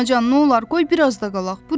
Anacan, nolar, qoy biraz da qalaq.